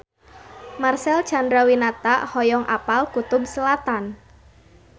Marcel Chandrawinata hoyong apal Kutub Selatan